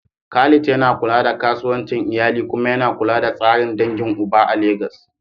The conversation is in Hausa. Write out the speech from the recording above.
Khalid yana kula da kasuwancin iyali kuma yana kula da tsarin dangin uba a Legas.